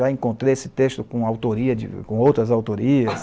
Já encontrei esse texto com autoria de, com outras autorias.